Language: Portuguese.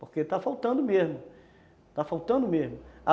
porque está faltando mesmo, está faltando mesmo.